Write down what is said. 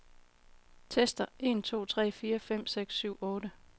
Tester en to tre fire fem seks syv otte.